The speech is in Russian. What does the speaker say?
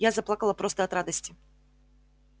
я заплакала просто от радости